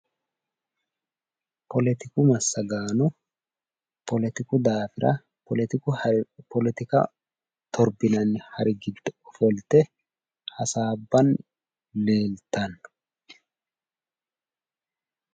Politiku massagaano politiku daafira, politika torbinanni hari giddo ofolte hasaabbanni leeltanno.